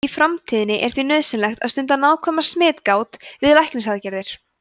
í framtíðinni er því nauðsynlegt að stunda nákvæma smitgát við læknisaðgerðir